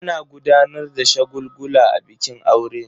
Ana gudanar da shagulgula a bikin aure.